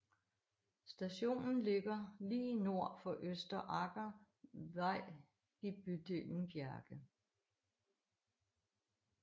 Stationen ligger lige nord for Østre Aker vei i bydelen Bjerke